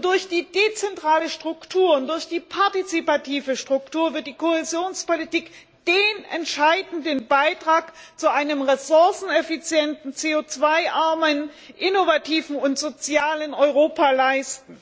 Durch die dezentrale Struktur und durch die partizipative Struktur wird die Kohäsionspolitik den entscheidenden Beitrag zu einem ressourceneffizienten CO armen, innovativen und sozialen Europa leisten.